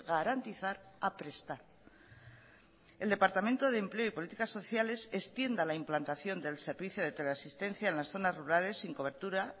garantizar a prestar el departamento de empleo y políticas sociales extienda la implantación del servicio de teleasistencia en las zonas rurales sin cobertura